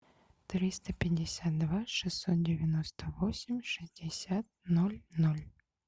триста пятьдесят два шестьсот девяносто восемь шестьдесят ноль ноль